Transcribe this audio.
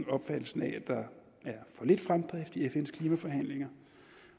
opfattelsen af at der er for lidt fremdrift i fns klimaforhandlinger